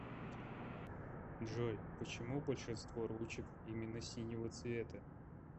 джой почему большинство ручек именно синего цвета